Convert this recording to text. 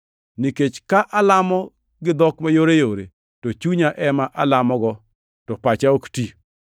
Nikech ka alamo gi dhok mayoreyore, to chunya ema alamogo, to pacha ok ti.